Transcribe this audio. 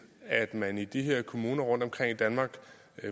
at man i de her kommuner rundtomkring i danmark